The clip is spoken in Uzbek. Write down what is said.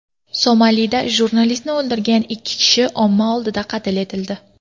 Somalida jurnalistni o‘ldirgan ikki kishi omma oldida qatl etildi.